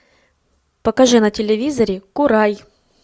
покажи на телевизоре курай